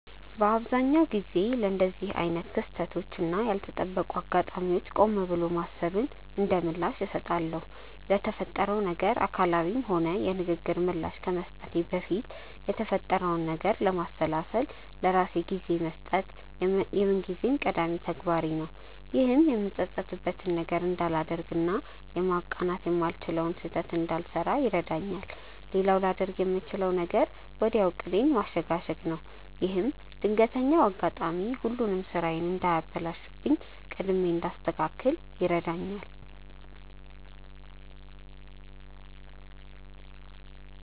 በአብዛኛው ጊዜ ለእንደዚህ አይነት ክስተቶች እና ያልተጠበቁ አጋጣሚዎች ቆም ብሎ ማሰብን እንደምላሽ እሰጣለሁ። ለተፈጠረው ነገር አካላዊም ሆነ የንግግር ምላሽ ከመስጠቴ በፊት የተፈጠረውን ነገር ለማሰላሰል ለራሴ ጊዜ መስጠት የምንጊዜም ቀዳሚ ተግባሬ ነው። ይህም የምጸጸትበትን ነገር እንዳላደርግ እና ማቃናት የማልችለውን ስህተት እንዳልሰራ ይረዳኛል። ሌላው ላደርግ የምችለው ነገር ወዲያው ዕቅዴን ማሸጋሸግ ነው። ይህም ድንገተኛው አጋጣሚ ሁሉንም ስራዬን እንዳያበላሽብኝ ቀድሜ እንዳስተካክል ይረዳኛል።